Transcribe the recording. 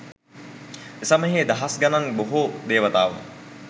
එසමයෙහි දහස් දහස් ගණන් බොහෝ දේවතාවෝ